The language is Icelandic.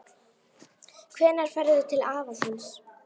Hvenær ferðu til afa þíns?